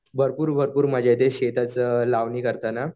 भरपूर भरपूर मजा येते शेतात लावणी करताना.